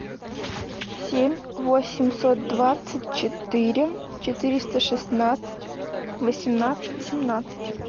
семь восемьсот двадцать четыре четыреста шестнадцать восемнадцать семнадцать